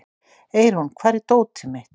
Eirún, hvar er dótið mitt?